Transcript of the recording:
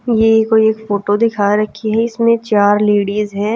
ये कोई एक फोटो दिखा रखी है इसमें चार लेडीज हैं।